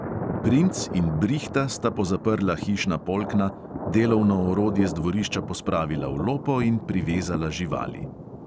Princ in brihta sta pozaprla hišna polkna, delovno orodje z dvorišča pospravila v lopo in privezala živali.